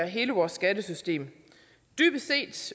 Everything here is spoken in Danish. hele vores skattesystem dybest set